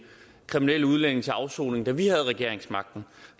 kriminelle udlændinge til afsoning da vi havde regeringsmagten